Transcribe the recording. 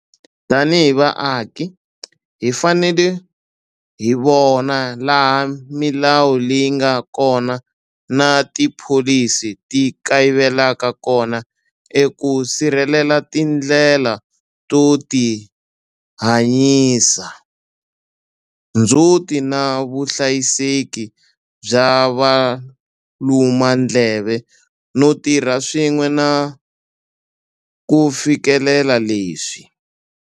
Tanihi vaaki, hi fanele hi vona laha milawu leyi nga kona na tipholisi ti kayivelaka kona eku sirhelela tindlela to tihanyisa, ndzhuti na vuhlayiseki bya valumandleve no tirha swin'we ku fikelela leswi.